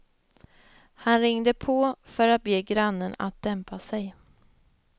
Han ringde på för att be grannen att dämpa sig.